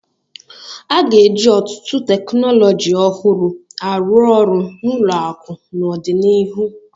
A ga-eji ọtụtụ teknọlọji ọhụrụ arụ orụ n' ụlọakụ n'ọdịnihu.